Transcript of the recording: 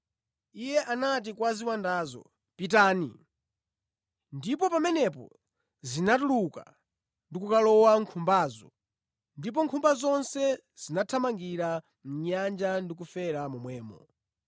Iye anati kwa ziwandazo, “Pitani!” Ndipo pamenepo zinatuluka ndi kukalowa mʼnkhumbazo ndipo nkhumba zonse zinathamangira mʼnyanja ndi kufera momwemo.